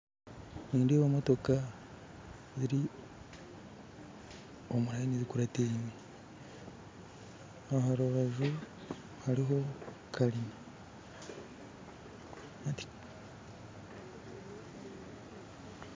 Nindeeba emotoka ziri omu muhanda gurikureetwa enyima aha rubaju hariho kaanyina